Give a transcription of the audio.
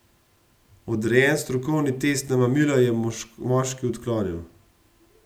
Odrejen strokovni test na mamila je moški odklonil.